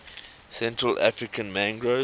central african mangroves